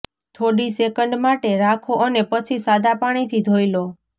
થોડી સેકંડ માટે રાખો અને પછી સાદા પાણીથી ધોઈ લો